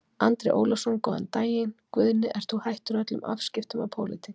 Andri Ólafsson: Góðan daginn Guðni, ert þú hættur öllum afskiptum af pólitík?